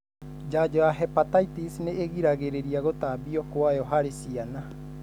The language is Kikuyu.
Janjo ya Hepatitis nĩigiragĩrĩria gũtambio kwayo harĩ ciana